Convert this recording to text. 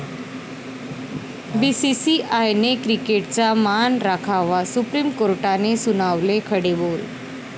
बीसीसीआयने क्रिकेटचा मान राखावा, सुप्रीम कोर्टाने सुनावले खडेबोल